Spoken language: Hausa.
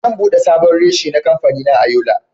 Zan bude sabon reshe na kamfanina a Yola.